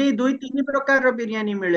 ଦୁଇ ଦୁଇତିନି ପ୍ରକାର ର ବିରିୟାନୀ ମିଳେ